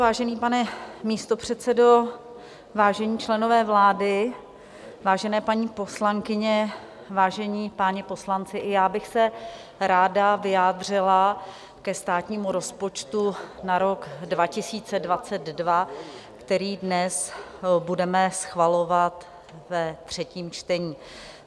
Vážený pane místopředsedo, vážení členové vlády, vážené paní poslankyně, vážení páni poslanci, i já bych se ráda vyjádřila ke státnímu rozpočtu na rok 2022, který dnes budeme schvalovat ve třetím čtení.